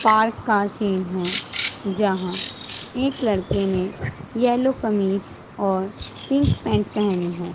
Park का scene हैं जहां एक लड़के ने येलो कमीज और पिंक पेंट पेहनी है।